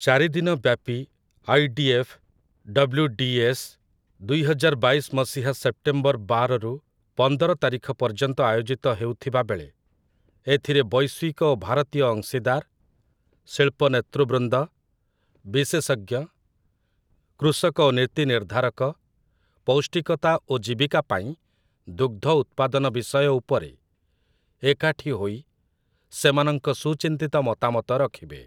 ଚାରିଦିନ ବ୍ୟାପି 'IDF.' 'WDS.' ଦୁଇହଜାର ବାଇଶ ମସିହା ସେପ୍ଟେମ୍ବର ବାର ରୁ ପନ୍ଦର ତାରିଖ ପର୍ଯ୍ୟନ୍ତ ଆୟୋଜିତ ହେଉଥିବାବେଳେ, ଏଥିରେ ବୈଶ୍ୱିକ ଓ ଭାରତୀୟ ଅଂଶୀଦାର, ଶିଳ୍ପ ନେତୃବୃନ୍ଦ, ବିଶେଷଜ୍ଞ, କୃଷକ ଓ ନୀତି ନିର୍ଦ୍ଧାରକ "ପୌଷ୍ଟିକତା ଓ ଜୀବିକା ପାଇଁ ଦୁଗ୍ଧ ଉତ୍ପାଦନ" ବିଷୟ ଉପରେ ଏକାଠି ହୋଇ ସେମାନଙ୍କ ସୁଚିନ୍ତିତ ମତାମତ ରଖିବେ ।